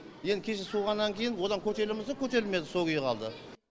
енді кеше суығаннан кейін одан көтеріле ма көтерілмейді сол күйі қалды